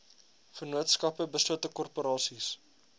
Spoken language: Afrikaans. vennootskappe beslote korporasies